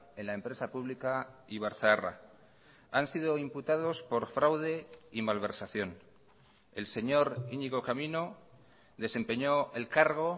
en la empresa pública ibarzaharra han sido imputados por fraude y malversación el señor iñigo camino desempeñó el cargo